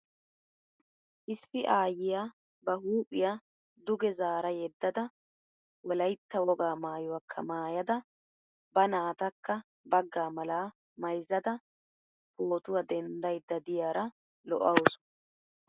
Issi aayyiya ba huuphiya duge zaara yeddada wolaytta wogaa maayuwakka maayada ba naatakka baagaa malaa mayizzada pootuwa denddayidda diyaara lo'awusu.